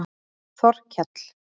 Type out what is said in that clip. Þorkell